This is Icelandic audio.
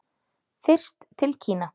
Fyrst til Kína.